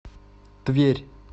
тверь